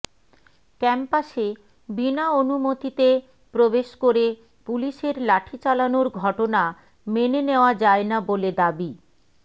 ক্যাম্পাসে বিনা অনুমতিতে প্রবেশ করে পুলিশের লাঠি চালানোর ঘটনা মেনে নেওয়া যায় না বলে দাবি